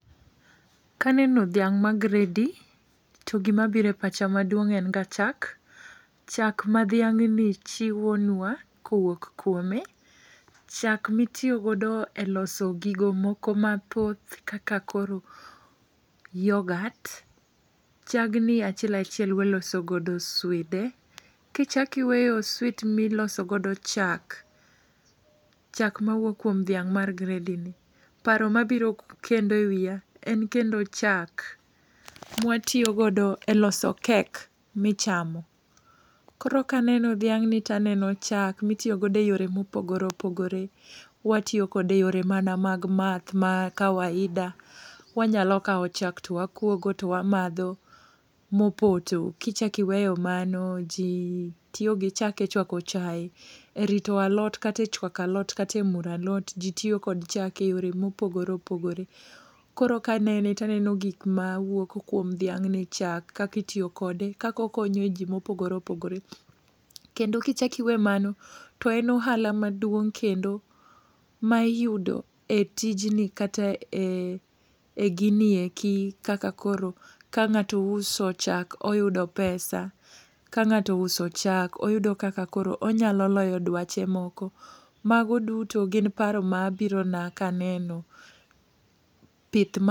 Kaneno dhiang' ma gredi, to gima bire pach maduong' en ga chak, chak ma dhiang'ni chiwonwa kowuok kuome. Chak mitiyo godo e loso gigo moko mathoth kaka koro yogat. Chagni achiel achiel waloso godo swide, kichakiweyo swit miloso godo chak, chak mar dhiang' mar gredi ni. Paro mabiro kendo e wiya en kendo chak mwatiyogodo e loso kek michamo. Koro kaneno dhiang' ni taneno chak mitiyo godo e yore mopogore opogore. Watiyo kode e yore mana mag math ma kawaida, wanyalo kawo chak to wakuogo to wamadho mopoto. Kichakiweyo mano ji tiyo gi chak e chwako chae. E rito alot kate chwako alot, katemuro alot, ji tiyo kod chak e yore mopogore opogore. Koro kanene taneno gik ma wuok kuom dhiang' ni chak kakitiyo kode, kakokonyo ji mopogore opogore. Kendo kiweyo mano, to en ohala maduong' kendo ma iyudo e tijni kata em e gini eki. Kaka koro ka ng'ato uso chak oyudo pesa, ka ng'ato uso chak oyudo kaka koro onyalo loyo dwache moko. Mago duto gin paro ma birona kaneno pith ma.